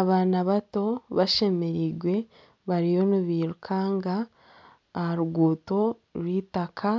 Abaana bato bashemereirwe bariyo nibairukanga aha ruguuto rwaitaka